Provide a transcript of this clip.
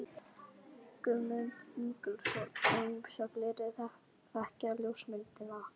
Guðmund Ingólfsson og ýmsa fleiri þekkta ljósmyndara.